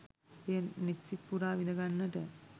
එය නෙත් සිත් පුරා විඳගන්නට